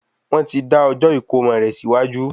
Wọ́n ti dá ọjọ́ ìkómo rè síwájú